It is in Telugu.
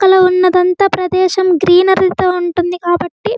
అల ఉన్నదంతా ప్రదేశం గ్రీనరి తో ఉంటుంది కాబట్టి --